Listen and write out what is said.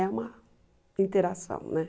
É uma interação, né?